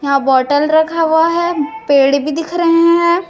यहां बोटल रखा हुआ है पेड़ भी दिख रहे हैं।